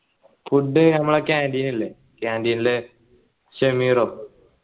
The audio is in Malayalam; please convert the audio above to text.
food ഞമ്മളെ canteen ഇല്ലേ canteen ലെ ഷെമീറോ